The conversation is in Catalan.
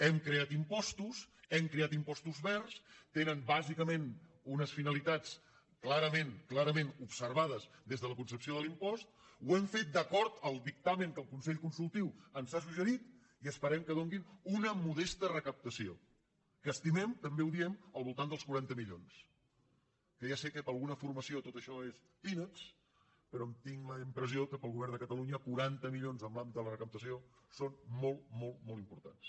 hem creat impostos hem creat impostos verds tenen bàsicament unes finalitats clarament observades des de la concepció de l’impost ho hem fet d’acord amb el dictamen que el consell consultiu ens ha suggerit i esperem que donin una modesta recaptació que estimem també ho diem al voltant dels quaranta milions que ja sé que per alguna formació tot això són peanuts però tinc la impressió que per al govern de catalunya quaranta milions en l’àmbit de la recaptació són molt molt importants